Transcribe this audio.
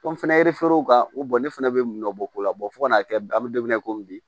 Kɔn fɛnɛ kan u ne fana bɛ nɔbɔ ko la fo kan'a kɛ a bɛ don min na i ko bi